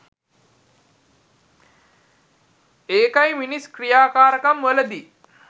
ඒකයි මිනිස් ක්‍රියාකාරකම් වලදි